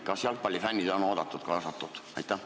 Kas jalgpallifännid on oodatud, kaasatud?